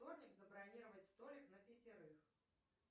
вторник забронировать столик на пятерых